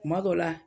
Kuma dɔ la